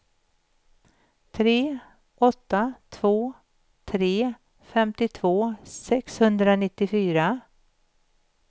tre åtta två tre femtiotvå sexhundranittiofyra